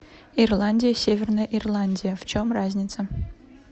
ирландия и северная ирландия в чем разница